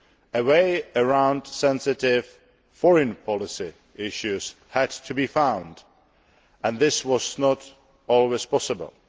A way around sensitive foreign policy issues had to be found, and this was not always possible.